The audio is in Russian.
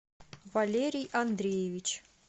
валерий андреевич